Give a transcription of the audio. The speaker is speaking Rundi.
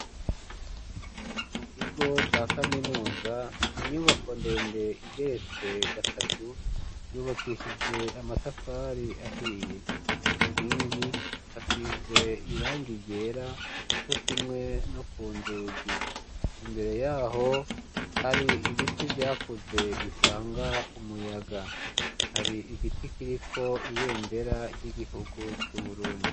mu kigo ca kaminuza ni inyubako ndende igeretse gatatu yubakishije amatafari ahiye, ku nkingi hasize irangi ryera co kimwe no ku nzugi, imbere yaho hari ibiti vyakuze bitanga umuyaga hari igiti kiriko ibendera ry'igihugu c'Uburundi.